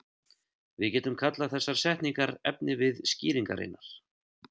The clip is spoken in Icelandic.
Við getum kallað þessar setningar efnivið skýringarinnar.